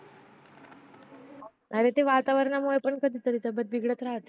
अरे ते वातावरणामुळे पण तब्बेत बिघडत राहते